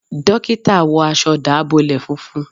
Dókítà wọ aṣọ dábọlẹ fúnfún